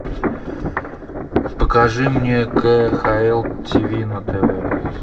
покажи мне кхл тв на тв